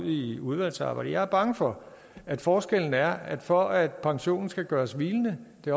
i udvalgsarbejdet jeg er bange for at forskellen er at for at pensionen skal gøres hvilende